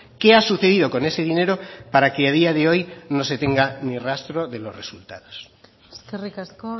qué ha sucedido con ese dinero para que a día de hoy no se tenga ni rastro de los resultados eskerrik asko